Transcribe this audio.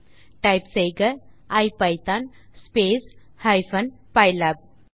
ஆகவே டைப் செய்க ipython space hyphen pylab